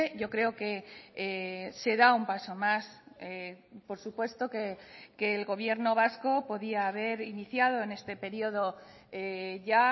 yo creo que se da un paso más por supuesto que el gobierno vasco podía haber iniciado en este periodo ya